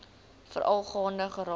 veral gaande geraak